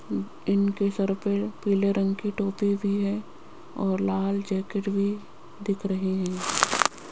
इनके सर पे पीले रंग की टोपी भी है और लाल जैकेट भी दिख रहें हैं।